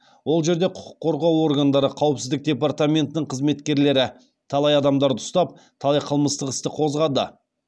ол жерде құқық қорғау органдары қауіпсіздік департаментінің қызметкерлері талай адамдарды ұстап талай қылмыстық істі қозғады